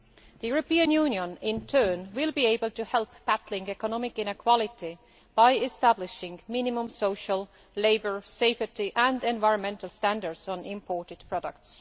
The European Union, in turn, will be able to help battle economic inequality by establishing minimum social, labour, safety and environmental standards on imported products.